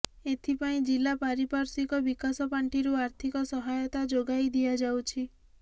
ଏଥିପାଇଁ ଜିଲ୍ଲା ପାରିପାର୍ଶ୍ୱିକ ବିକାଶ ପାଣ୍ଠିରୁ ଆର୍ଥିକ ସହାୟତା ଯୋଗାଇ ଦିଆଯାଉଛି